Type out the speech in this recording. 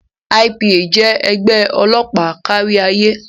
IPA jẹ́ ẹgbẹ́ ọlọ́pàá kárí ayé.